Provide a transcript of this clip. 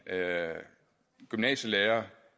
gymnasielærer